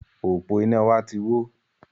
Òpó iná wa ti wó